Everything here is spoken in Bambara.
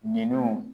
Ninun